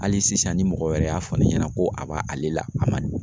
Hali sisan ni mɔgɔ wɛrɛ y'a fɔ ne ɲɛna ko a b'a ale la a ma